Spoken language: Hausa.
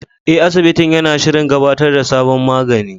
Eh, asibitin yana shirin gabatar da sabon magani.